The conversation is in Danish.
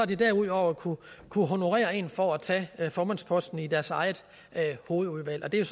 de derudover kunnet honorere en for at tage formandsposten i deres eget hovedudvalg og det er